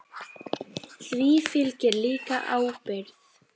Því fylgir líka ábyrgð.